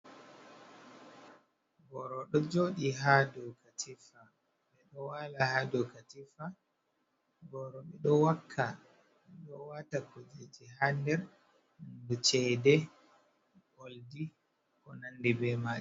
Boro ɗo joɗi ha ɗow katifa. Ɓe ɗo wala ha ɗow katifa. Boro ɓe ɗo wakka, ɗo wata kuje ji ha nɗer. E ceɗe, olɗi ko nanɗi ɓe mai.